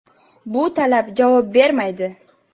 Bu talab javob bermaydi.